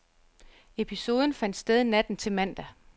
Episoden fandt sted natten til mandag.